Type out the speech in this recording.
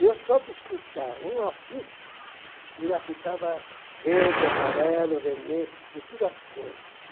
E eu só de escutar um apito, eu já ficava verde, amarelo, vermelho, de todas as cores.